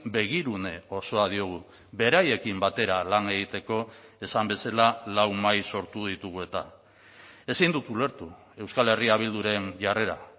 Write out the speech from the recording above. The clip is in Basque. begirune osoa diogu beraiekin batera lan egiteko esan bezala lau mahai sortu ditugu eta ezin dut ulertu euskal herria bilduren jarrera